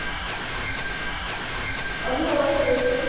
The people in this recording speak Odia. ଅନୁଭବ ବର୍ଷା ପ୍ରିୟଦର୍ଶିନୀ